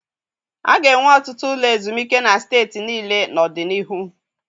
A ga-enwe ọtụtụ ụlọ ezumike na steeti niile n'ọdịnihu.